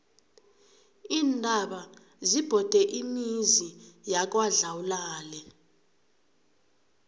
iintaba zibhode imizi yangakwadlawulale